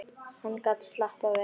Hann gat slappað vel af.